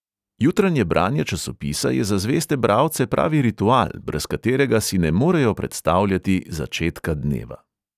Jutranje branje časopisa je za zveste bralce pravi ritual, brez katerega si ne morejo predstavljati začetka dneva.